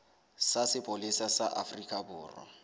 sa sepolesa sa afrika borwa